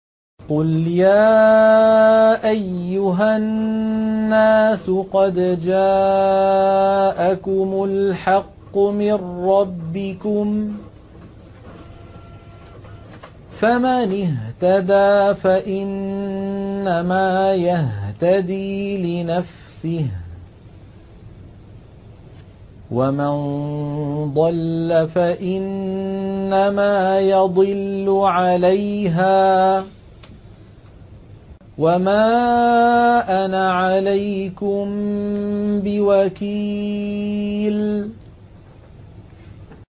قُلْ يَا أَيُّهَا النَّاسُ قَدْ جَاءَكُمُ الْحَقُّ مِن رَّبِّكُمْ ۖ فَمَنِ اهْتَدَىٰ فَإِنَّمَا يَهْتَدِي لِنَفْسِهِ ۖ وَمَن ضَلَّ فَإِنَّمَا يَضِلُّ عَلَيْهَا ۖ وَمَا أَنَا عَلَيْكُم بِوَكِيلٍ